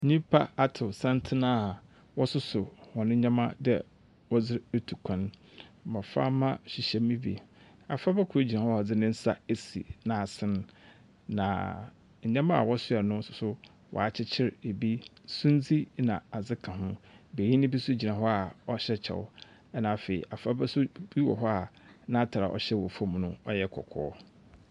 Nnipa atow santsen a wɔsoso hɔn ndzɛmba dɛ wɔdze ritu kwan. Mboframba hyehyɛ mu bi. Abofraba kor gyinahɔ a ɔdze ne ns esi n'asen, na ndzɛmba a wɔsoa no nso, wɔakyekyere ɛbi. Sumdze na adze ka ho. Benyin bi nso gyina hɔ a ɔhyɛ kyɛw, ɛna afei abofraba nso bi wɔ hɔ n'atar a ɔhyɛ wɔ famu no yɛ kɔkɔɔ.